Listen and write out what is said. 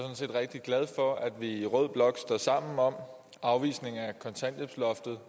rigtig glad for at vi i rød blok står sammen om afvisning af kontanthjælpsloftet